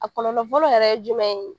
A kɔlɔlɔ fɔlɔ yɛrɛ ye jumɛn ye ?